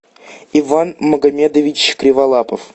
иван магомедович криволапов